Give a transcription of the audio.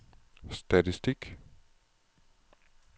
statistik